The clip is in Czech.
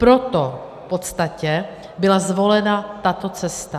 Proto v podstatě byla zvolena tato cesta.